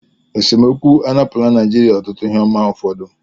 Esemokwu anapụla Naijiria ọtụtụ ihe ọma ụfọdụ